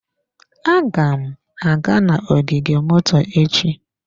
Aga m aga n'ogige moto echi.